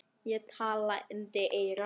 Ég er talandi eyra.